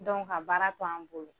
ka baara to an bolo